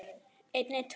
Önnur ár eru almenn ár.